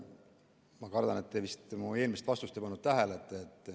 Ma kardan, et te ei pannud vist mu eelmist vastust tähele.